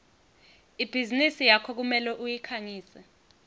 ibhizinisi yakho kumele uyikhangise